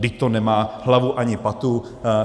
Vždyť to nemá hlavu ani patu.